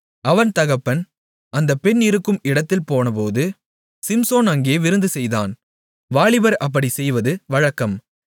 அவன் தகப்பன் அந்தப் பெண் இருக்கும் இடத்தில் போனபோது சிம்சோன் அங்கே விருந்துசெய்தான் வாலிபர் அப்படிச் செய்வது வழக்கம்